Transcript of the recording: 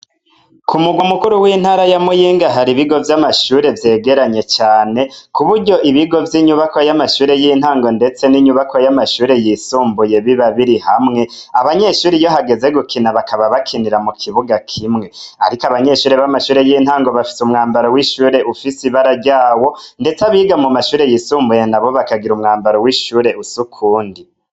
Kumurwa mukuru wintara ya muyinga hari ibigo vyamashure vyegeranye cane kuburyo ibigo vyamashure yintango nendetse niyamashure yisumbuye bibabiri hamwe abanyeshure bakaba bakinira mukibuga kimwe ariko abanyeshure bamashure yintango bafise umwambaro wishure ufise ibara ryawo ndetse abiga amashure yisumbuye nabo bakagira umwambaro wishure usa ukundi